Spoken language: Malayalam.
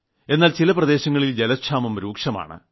എന്നാൽ ചില പ്രദേശങ്ങളിൽ ജലക്ഷാമം രൂക്ഷമാണ്